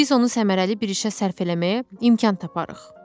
Biz onu səmərəli bir işə sərf eləməyə imkan taparıq.